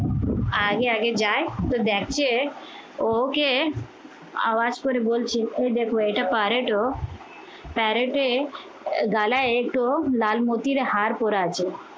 আগে আগে যায় তো দেখে ও ওকে আওয়াজ করে বলছে এই দেখো এটা পারে তো parrot এর গলায় এঁটো লালমতির হাড় পড়ে আছে